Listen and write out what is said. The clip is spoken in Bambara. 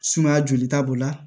Sumaya jolita b'o la